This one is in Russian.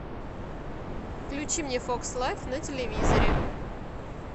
включи мне фокс лайф на телевизоре